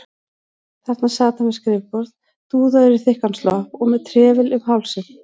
Þarna sat hann við skrifborð, dúðaður í þykkan slopp og með trefil um hálsinn.